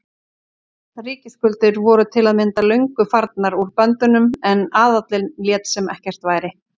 Ríkisskuldir voru til að mynda löngu farnar úr böndunum en aðallinn lét sem ekkert væri.